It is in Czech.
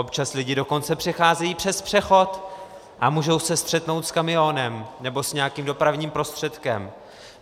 Občas lidi dokonce přecházejí přes přechod a můžou se střetnout s kamionem nebo s nějakým dopravním prostředkem.